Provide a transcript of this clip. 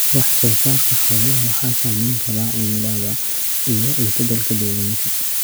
Wax-soo-saarka xoolaha waxaa saamayn kara cimilada iyo is-beddelka deegaanka.